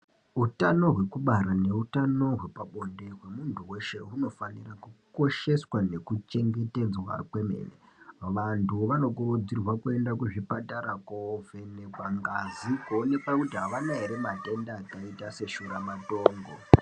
Hutano hwekubara nehutano hwepabonde hwemuntu weshe hunofanire kukosheswa nekuchengetedzwa kwemene. Vantu vanokurudzirwa kuenda kuzvipatara, kovhenekwa ngazi kuonekwa kuti avana here matenda akaita seshuramatongo.